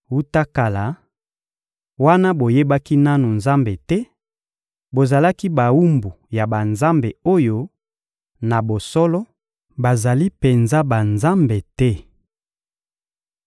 Wuta kala, wana boyebaki nanu Nzambe te, bozalaki bawumbu ya banzambe oyo, na bosolo, bazali penza banzambe te.